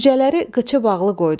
Cücələri qıçı bağlı qoydum.